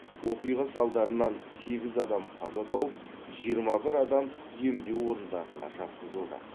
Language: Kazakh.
оқиға салдарынан сегіз адам қаза тауып жиырма бір адам емдеу орындарына жатқызылды